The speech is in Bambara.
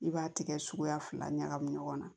I b'a tigɛ suguya fila ɲagami ɲɔgɔn na